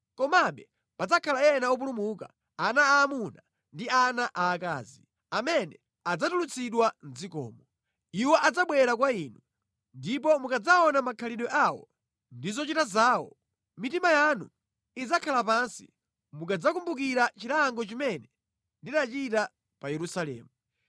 Komabe padzakhala ena opulumuka, ana aamuna ndi ana aakazi amene adzatulutsidwa mʼdzikomo. Iwo adzabwera kwa inu, ndipo mukadzaona makhalidwe awo ndi zochita zawo, mitima yanu idzakhala pansi mukadzakumbukira chilango chimene ndinachita pa Yerusalemu.